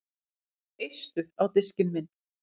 Eistu á diskinn minn